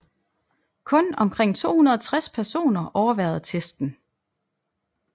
Kun omkring 260 personer overværede testen